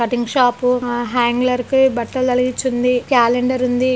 cutting shop hanger కి బట్టలు తగిలించి ఉంది క్యాలెండరు ఉంది-- .>